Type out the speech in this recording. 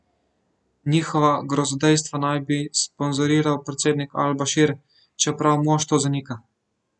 Njihova grozodejstva naj bi sponzoriral predsednik Al Bašir, čeprav mož to zanika.